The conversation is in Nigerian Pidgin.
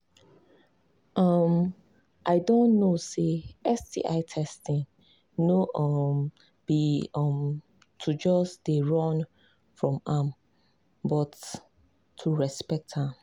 um i don know say sti testing no um be um to just they run from am am but to respect am